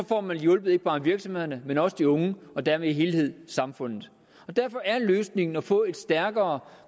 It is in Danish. får man hjulpet ikke bare virksomhederne men også de unge og dermed hele samfundet derfor er løsningen at få et stærkere